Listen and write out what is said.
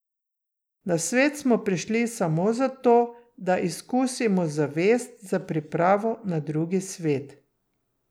Na svet smo prišli samo zato, da izkusimo zavest za pripravo na Drugi svet.